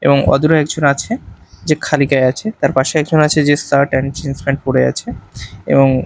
এবং অদূরে একজন আছে যে খালি গায়ে আছে তার পাশে একজন আছে যে শার্ট এন্ড জিন্স প্যান্ট পরে আছে এবং--